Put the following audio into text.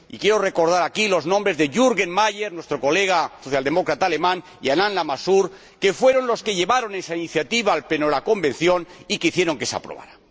Y quiero recordar aquí los nombres de Jürgen Meyer, nuestro colega socialdemócrata alemán, y de Alain Lamassoure, que fueron los que llevaron esa iniciativa al Pleno de la Convención y que hicieron que se aprobara.